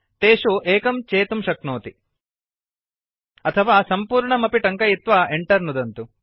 तेषु एकं चेतुं शक्नोति अथवा सम्पूर्णम् अपि टङ्कयित्वा enter नुदतु